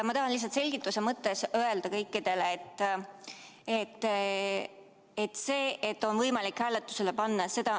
Ma tahan lihtsalt selgituseks kõikidele öelda, et on võimalik hääletusele panna.